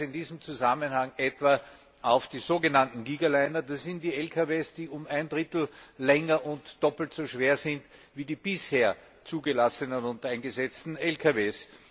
Ich verweise in diesem Zusammenhang auf die sogenannten Gigaliner. Das sind die Lkws, die um ein Drittel länger und doppelt so schwer sind wie die bisher zugelassenen und eingesetzten Lkws.